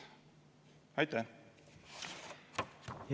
Aitäh!